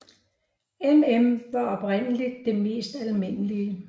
MM var oprindeligt det mest almindelige